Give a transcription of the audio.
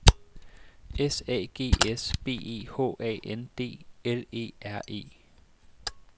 S A G S B E H A N D L E R E